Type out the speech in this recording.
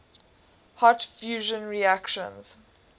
hot fusion reactions